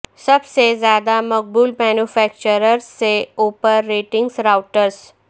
سب سے زیادہ مقبول مینوفیکچررز سے اوپر ریٹنگز راوٹرز